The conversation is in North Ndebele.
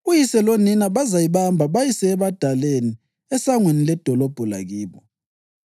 uyise lonina bazayibamba bayise ebadaleni esangweni ledolobho lakibo.